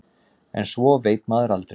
En svo veit maður aldrei.